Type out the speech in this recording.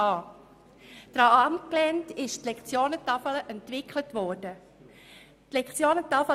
Daran orientierte sich die Entwicklung der Lektionentafel.